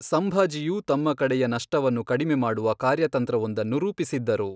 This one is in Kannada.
ಸಂಭಾಜಿಯು ತಮ್ಮ ಕಡೆಯ ನಷ್ಟವನ್ನು ಕಡಿಮೆ ಮಾಡುವ ಕಾರ್ಯತಂತ್ರವೊಂದನ್ನು ರೂಪಿಸಿದ್ದರು.